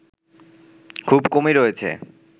খুব কমই রয়েছে